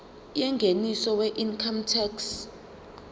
yengeniso weincome tax